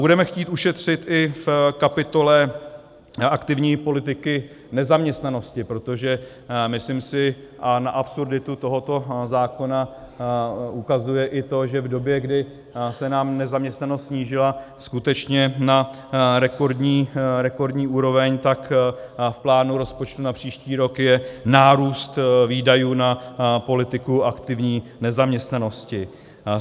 Budeme chtít ušetřit i v kapitole aktivní politiky nezaměstnanosti, protože myslím si, a na absurditu tohoto zákona ukazuje i to, že v době, kdy se nám nezaměstnanost snížila skutečně na rekordní úroveň, tak v plánu rozpočtu na příští rok je nárůst výdajů na politiku aktivní nezaměstnanosti.